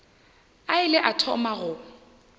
a ile a thoma go